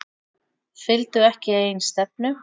Fylgdu ekki eigin stefnu